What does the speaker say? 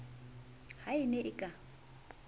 ha e ne e ka